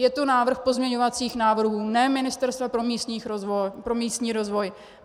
Je to návrh pozměňovacích návrhů, ne Ministerstva pro místní rozvoj.